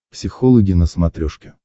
психологи на смотрешке